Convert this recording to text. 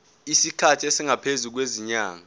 isikhathi esingaphezulu kwezinyanga